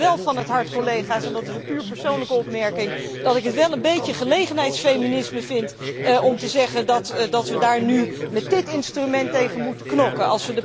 Maar het moet me wel van het hart, collega's, en dat is een puur persoonlijke opmerking dat ik het wel een beetje gelegenheidsfeminisme vind om te zeggen dat we daar nu met dit instrument tegen moeten knokken.